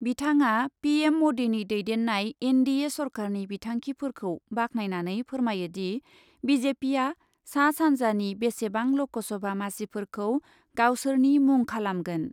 बिथाङा PM मदिनि दैदेननाय NDA सरकारनि बिथांखिफोरखौ बाख्नायनानै फोरमायोदि , बिजेपिआ सा सान्जानि बेसेबां लकसभा मासिफोरखौ गावसोरनि मुंखालामगोन ।